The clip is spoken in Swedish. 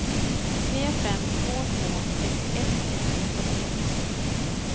tre fem två två sextioett etthundrafyrtio